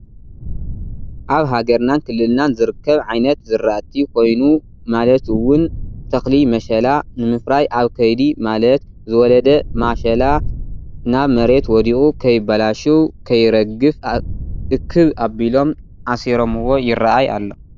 ኣብ ሃገርናን ክልልናን ዝርከብ ዓይነት ዝራእቲ ኮይኑ ማለት እውን ተኽሊ መሸላ ንምፍራይ ኣብ ከይዲ ማለት ዝወለደ ማሸላ ናብ መሬት ወዲቁ ክይባላሽው ( ከይረግፍ) እክብ ኣቢሎም ኣሲሮምዎ ይራኣይ ኣሎ::